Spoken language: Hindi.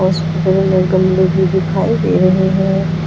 स्कूल में गमले भी दिखाई दे रहे हैं।